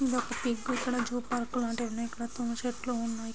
ఇది ఒక పిగ్ ఇక్కడ ఒక జూ పార్క్ ఉన్యి ఇక్కడ తుమ్మ చెట్లు ఉన్నాయి.